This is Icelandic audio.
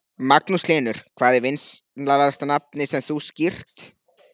Magnús Hlynur: Hvað er vinsælasta nafnið sem þú skírt?